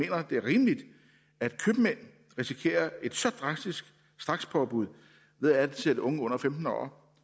at det er rimeligt at købmænd risikerer at et så drastisk strakspåbud ved at ansætte unge under femten år